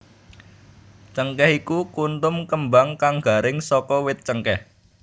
Cengkèh iku kuntum kembang kang garing saka wit cengkèh